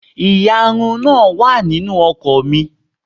Ìyarun náà wà nínú ọkọ̀ mi.